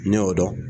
Ne y'o dɔn